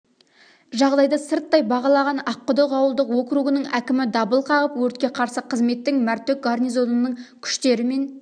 жағдайды сырттай бағалаған аққұдық ауылдық оуругінің әкімі дабыл қағып өртке қарсы қызметтің мәртөк гарнизонының күштері мен